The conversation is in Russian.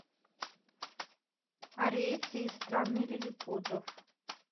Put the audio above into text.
ариэтти из страны лилипутов